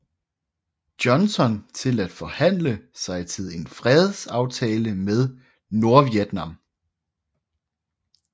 Johnson til at forsøge at forhandle sig til en fredsaftale med Nordvietnam